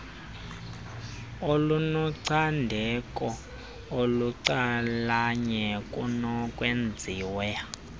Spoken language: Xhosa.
olunocandeko olucalanye kunokwenziwa